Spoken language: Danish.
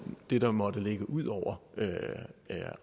det der måtte ligge ud over